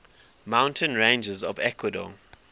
mountain ranges of ecuador